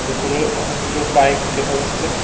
ভেতরে অনেকগুলো বাইক দেখা যাচ্ছে।